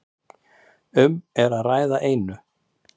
Um er að ræða einu